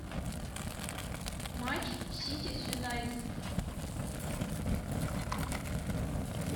матч сити с юнайтед